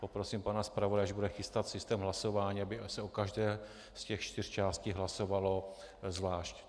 Poprosím pana zpravodaje, až bude chystat systém hlasování, aby se o každé z těch čtyř částí hlasovalo zvlášť.